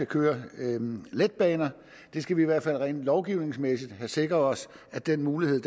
køre letbaner vi skal i hvert fald rent lovgivningsmæssigt have sikret os at den mulighed